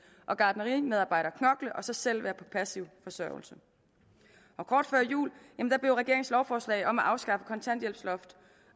og gartnerimedarbejderen knokle og så selv være på passiv forsørgelse kort før jul blev regeringens lovforslag om at afskaffe kontanthjælpsloft